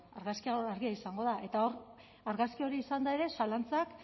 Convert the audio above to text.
argazkia hor argia izango da eta argazki hori izanda ere zalantzak